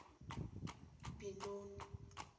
binoni